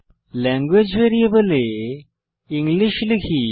language ভ্যারিয়েবলে English লিখি